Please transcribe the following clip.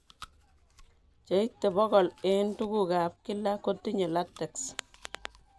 Cheite bogol eng' tuguk ab kila kotinye latex